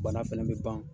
Bana fɛnɛ bɛ ban